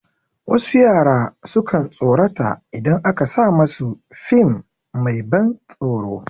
Wasu yara sukan tsorata idan aka sa masu fim mai ban tsoron